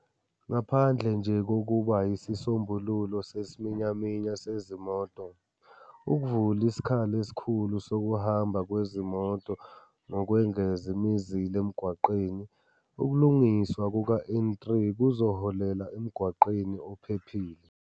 "Ngaphandle nje kokuba yisisombululo sesiminyaminya sezimoto, ukuvula isikhala esikhulu sokuhamba kwezimoto ngokwengeza imizila emgwaqeni, ukulungiswa kuka-N3 kuzoholela emgwaqeni ophephile."